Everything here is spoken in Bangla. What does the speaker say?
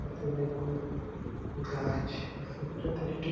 এ তে অনেকগুলো গাছ আর সেইটাতে একটি --